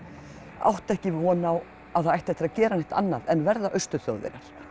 átti ekki von á að það ætti eftir að gera neitt annað en verða Austur Þjóðverjar